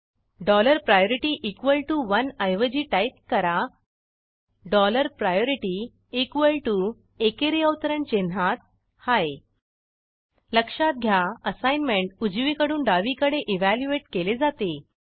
dollar priority equal T O oneऐवजी type करा dollar priority equal T O एकेरी अवतरण चिन्हात हाय लक्षात घ्या असाईनमेंट उजवीकडून डावीकडे इव्हॅल्युएट केले जाते